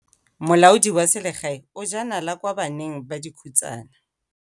Molaodi wa selegae o jaa nala kwa baneng ba dikhutsana.